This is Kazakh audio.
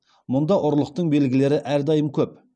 мұнда ұрлықтың белгілері әрдайым көп